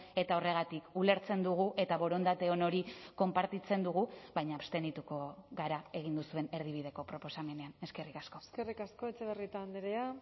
eta horregatik ulertzen dugu eta borondate on hori konpartitzen dugu baina abstenituko gara egin duzuen erdibideko proposamenean eskerrik asko eskerrik asko etxebarrieta andrea